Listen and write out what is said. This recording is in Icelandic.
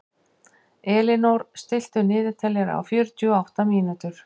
Elínór, stilltu niðurteljara á fjörutíu og átta mínútur.